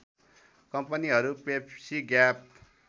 कम्पनीहरू Pepsi gap